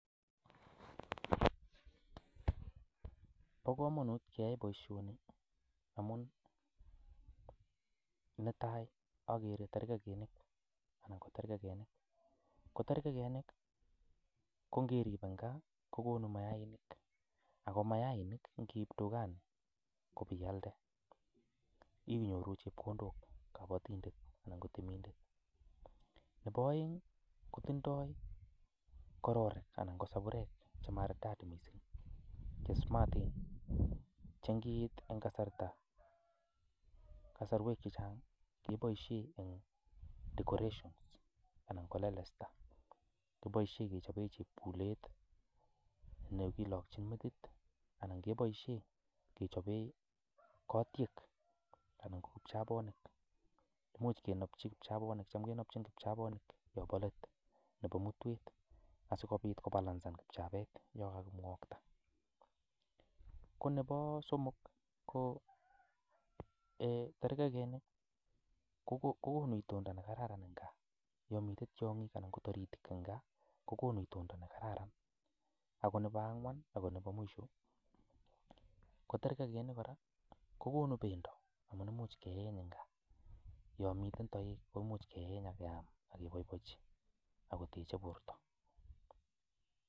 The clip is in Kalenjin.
Bo kamanut keyai boisioni amun netai, akere terkekinik anan ko terkekenik, ko terkekenik ko ngerip ing gaa kokonu mayainik, ako mayainik ngeip dukani kopialde inyoru chepkondok kabatindet anan ko temindet, nebo aeng ii kotindoi kororik anan kosaburek che maridati mising che smaten che ngiit eng kasarta eng kasarwek che chang keboisie eng decorations anan ko lelesta, keboisie kechobe chepkulet ne kilokchin metit anan keboisie kechope kotiek anan ko kipchabonik, much kenopchi kipchabonik cham kenopchin kipchabonik yo bo let nebo mutwet asikobit kobalansan kipchabet yo kakimwakta, ko nebo somok ko um terkekenik kokonu itondo ne kararan eng gaa, yo mite tiongik anan ko taritik eng gaa kokonu itondo ne kararan, ako nebo angwan ako nebo mwisho ko terkekinik kora kokonu bendo amun imuch keeny eng gaa, yo miten toek komuch keeny ak keam ak keboiboichi ak koteche borta.